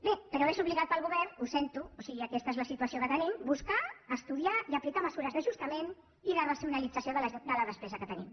bé però és obligat per al govern ho sento o sigui aquesta és la situació que tenim buscar estudiar i aplicar mesures d’ajustament i de racionalització de la despesa que tenim